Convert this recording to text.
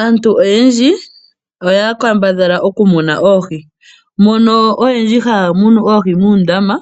Aantu oyendji. oya kambadha okumuna oohi mpono oyendji haya munu oohi muundama